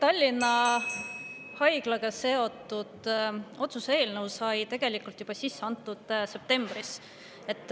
Tallinna Haiglaga seotud otsuse eelnõu sai tegelikult sisse antud juba septembris.